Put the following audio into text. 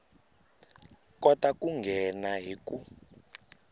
kota ku nghena hi ku